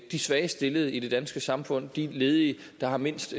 de svagest stillede i det danske samfund de ledige der har mindst